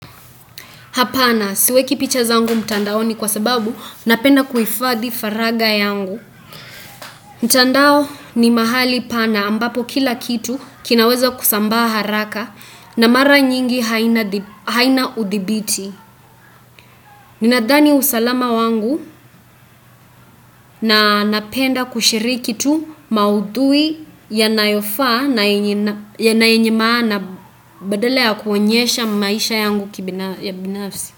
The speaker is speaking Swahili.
Hapana, siweki picha zangu mtandaoni kwa sababu, napenda kuhifadhi faraga yangu. Mtandao ni mahali pana ambapo kila kitu kinaweza kusambaa haraka na mara nyingi haina udhibiti. Ninadhani usalama wangu na napenda kushiriki tu maudhui ya nayofaa na yenye maana badala ya kuonyesha maisha yangu kibinafsi.